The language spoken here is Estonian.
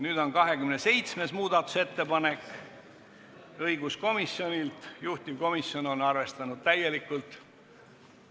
Nüüd on 27. muudatusettepanek, see on õiguskomisjonilt ja juhtivkomisjon on arvestanud seda täielikult.